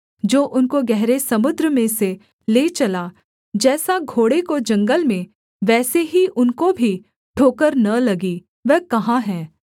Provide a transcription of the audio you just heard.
जो उनको गहरे समुद्र में से ले चला जैसा घोड़े को जंगल में वैसे ही उनको भी ठोकर न लगी वह कहाँ है